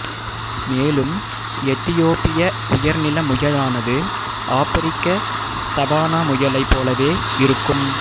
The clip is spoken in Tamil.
மேலும் எத்தியோப்பிய உயர்நில முயலானது ஆப்பிரிக்க சவானா முயலை போலவே இருக்கும்